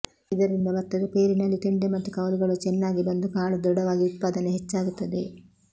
ಇದರಿಂದ ಭತ್ತದ ಪೈರಿನಲ್ಲಿ ತೆಂಡೆ ಮತ್ತು ಕವಲುಗಳು ಚೆನ್ನಾಗಿ ಬಂದು ಕಾಳು ದೃಢವಾಗಿ ಉತ್ಪಾದನೆ ಹೆಚ್ಚಾಗುತ್ತದೆ